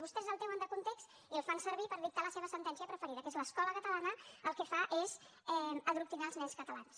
vostès el treuen de context i el fan servir per dictar la seva sentència preferida que és l’escola catalana el que fa és adoctrinar els nens catalans